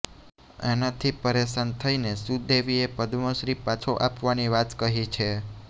આનાથી પરેશાન થઈને સુદેવીએ પદ્મશ્રી પાછો આપવાની વાત કહી છે